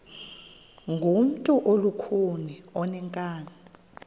ngumntu olukhuni oneenkani